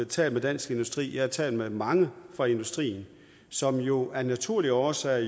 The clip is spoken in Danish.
talt med dansk industri jeg har talt med mange fra industrien som jo af naturlige årsager